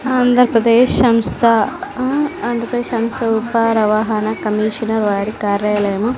ఆంధ్రప్రదేశ్ సంస్థ ఆ ఆంధ్రప్రదేశ్ సంస్థ ఉపా రవహాన కమీషన వారి కార్యాలయము.